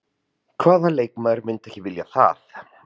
Hvaða leikmaður myndi ekki vilja það?